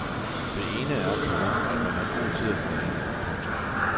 Den ene er, komma at man er god til at forhandle. punktum